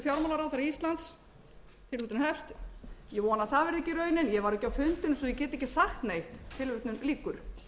fjármálaráðherra íslands tilvitnun hefst ég vona að það verði ekki raunin ég var ekki á fundinum svo ég get ekki sagt neitt tilvitnun lýkur